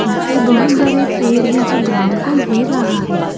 पिछे बहुत बड़े पेड़ हैं जो ग्राउंड को घेर रहा है।